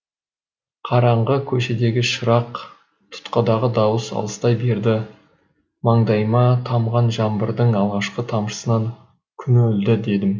көшедегі шырақ тұтқадағы дауыс алыстай берді маңдайыма тамған жаңбырдың алғашқы тамшысынан күн өлді дедім